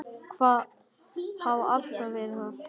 Hafa alltaf verið það.